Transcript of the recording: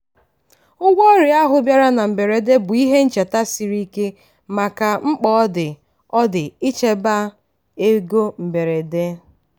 ụgwọ ọrịa ahụ bịara na mberede bụ ihe ncheta siri ike maka mkpa ọ dị ọ dị ichekwaba ego mberede.